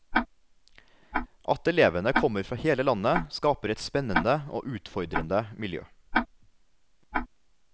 At elevene kommer fra hele landet, skaper et spennende og utfordrende miljø.